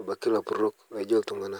abaki lapurok laijo ltung'ana.